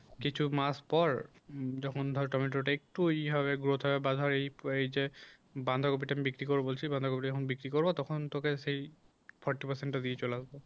কিছু মাস পর যখন ধর টমেটোটা একটু ই হবে growth হবে বাঁধর ওই যে বাঁধাকপিটা আমি বিক্রি করব বলছি বাঁধাকপি টা যখন বিক্রি করব তখন তোকে সেই forty percent টা দিয়ে চলে আসব